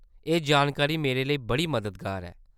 एह् जानकारी मेरे लेई बड़ी मददगार ऐ।